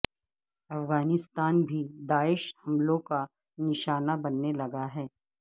افغانستان بھی داعش حملوں کا نشانہ بننے لگا ہے